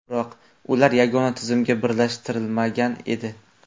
Biroq ular yagona tizimga birlashtirilmagan edi.